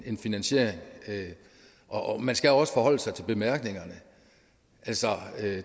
en finansiering og man skal også forholde sig til bemærkningerne altså